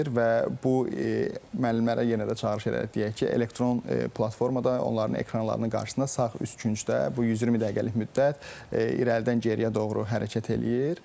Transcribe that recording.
Və bu müəllimlərə yenə də çağırış edək, deyək ki, elektron platformada onların ekranlarının qarşısında sağ üst küncdə bu 120 dəqiqəlik müddət irəlidən geriyə doğru hərəkət eləyir.